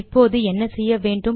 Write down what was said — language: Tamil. இப்போது என்ன செய்ய வேண்டும்